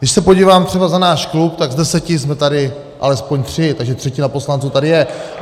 Když se podívám třeba za náš klub, tak z deseti jsme tady alespoň tři, takže třetina poslanců tady je.